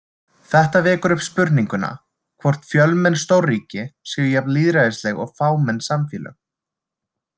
Þetta vekur upp spurninguna, hvort fjölmenn stórríki séu jafn lýðræðisleg og fámenn samfélög.